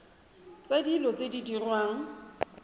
tsa dilo tse di diriwang